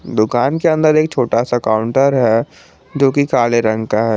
दुकान के अंदर एक छोटा सा काउंटर है जो कि काले रंग का है।